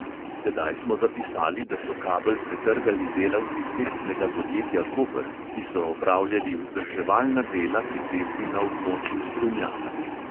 Tedaj smo zapisali, da so kabel pretrgali delavci cestnega podjetja koper, ki so opravljali vzdrževalna dela pri cesti na območju strunjana.